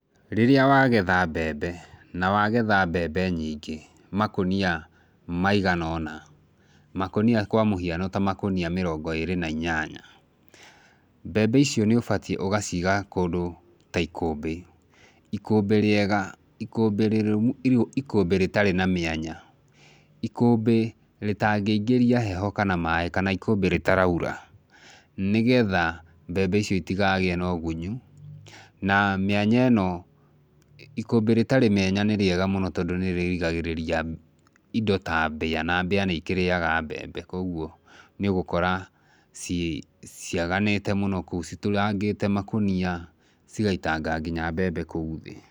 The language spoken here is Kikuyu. Rĩrĩa wagetha mbembe, nawagetha mbembe nyingĩ makũnia maigana ũna, makũnia kwa mũhiano ta makũnia mĩrongo ĩrĩ na inyanya, mbembe icio nĩ ũbatiĩ ũgaciga kũndũ ta ikũmbĩ, ikũmbĩ rĩega, ikũmbĩ rĩtarĩ na mĩanya, ikũmbĩ rĩtaingĩria heho kana maĩ, kana ikũmbĩ rĩtaraura, nĩgetha mbembe icio itikagĩe na ũgunyu na mĩanya ĩno , ikũmbĩ rĩtarĩ mĩanya nĩ rĩega mũno, tondũ nĩrĩrigagĩrĩria indo ta mbĩa, na mbĩa nĩikĩrĩaga mbembe, kwoguo nĩũgũkora ciaganĩte mũno kũ,u citũrangĩte makũnia cigaitanga nginya mbembe kũu thĩ.